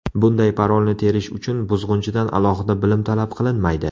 Bunday parolni terish uchun buzg‘unchidan alohida bilim talab qilinmaydi.